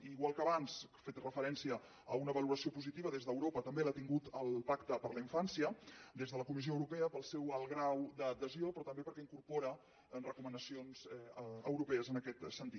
i igual que abans he fet referència a una valoració positiva des d’europa també l’ha tingut el pacte per a la infància des de la comissió europea pel seu alt grau d’adhesió però també perquè incorpora recomanacions europees en aquest sentit